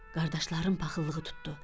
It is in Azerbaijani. Qardaşların paxıllığı tutdu.